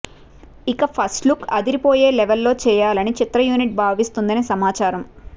ఇక first look అదిరిపోయే లెవెల్లో చేయాలని చిత్ర యూనిట్ భావిస్తుందని సమాచారం